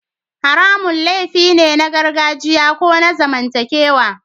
Haramun laifi ne na gargajiya ko na zamantakewa